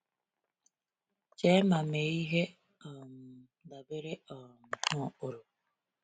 Chee ma mee ihe um dabere um na ụkpụrụ.